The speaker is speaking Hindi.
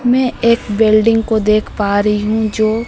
मैं एक बिल्डिंग को देख पा रही हूं जो--